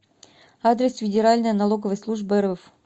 адрес федеральная налоговая служба рф